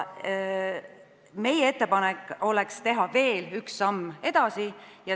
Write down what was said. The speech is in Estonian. Meie ettepanek oleks teha veel üks samm edasi.